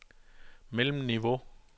mellemniveau